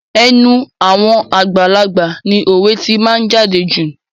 Ẹnu àwọn àgbàlagbà ni òwe tí máa ń jáde jù.